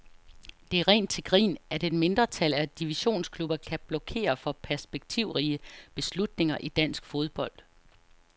Det er rent til grin, at et mindretal af divisionsklubber kan blokere for perspektivrige beslutninger i dansk fodbold.